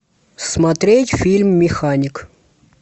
смотреть фильм механик